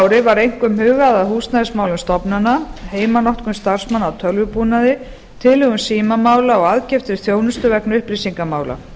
ári var einkum hugað að húsnæðismálum stofnana heimanotkun starfsmanna á tölvubúnaði tilhögun símamála og aðkeyptri þjónustu vegna upplýsingamála